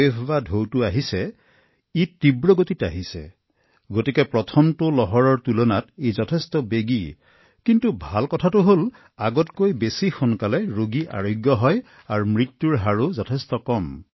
ই দ্ৰুতগতিত আহিছে সেয়েহে ভাইৰাছটোৱে প্ৰথমটো ঢৌৰ তুলনাত দ্ৰুত গতিত কাম কৰি আছে কিন্তু ভাল কথাটো হল তাতকৈ ক্ষীপ্ৰতাৰে পুনৰুদ্ধাৰ হৈছে আৰু মৃত্যুৰ হাৰো যথেষ্ট কম